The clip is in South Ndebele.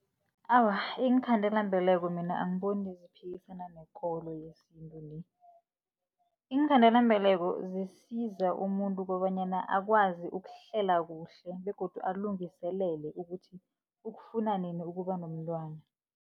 Awa, iinkhandelambeleko mina angiboni ziphikisana nekolo yesintu le. Iinkhandelambeleko zisiza umuntu kobanyana akwazi ukuhlela kuhle begodu alungiselele ukuthi, ukufuna nini ukuba nomntwana.